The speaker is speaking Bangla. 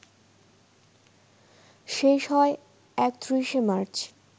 শেষ হয় ৩১শে মার্চ